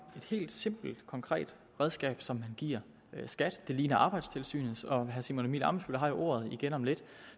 et helt simpelt konkret redskab som man giver skat det ligner arbejdstilsynets og herre simon emil ammitzbøll har jo ordet igen om lidt